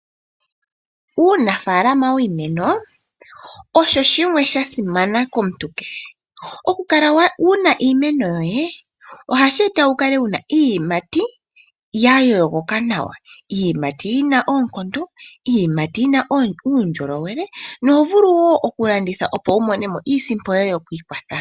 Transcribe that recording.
Uunafalama wiimeno osho shimwe sha simana komuntu kehe. oku kala wuna iimeno yoye, ohashi eta wukale wuna iiyimati ya yoogoka nawa, iiyimati yina oonkondo, iiyimati yina undjolowele, noho vulu wo oku landitha opo wu monemo iisimpo yoye yokwiikwatha.